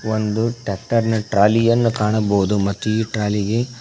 ಒಂದು ಟ್ರ್ಯಾಕ್ಟರ್ ನ ಟ್ರಾಲಿಯನ್ನು ಕಾಣಬೋದು ಮತ್ತು ಈ ಟ್ರಾಲಿಗೆ--